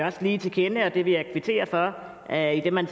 også lige til kende og det vil jeg kvittere for at man